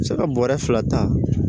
Se ka bɔrɛ fila ta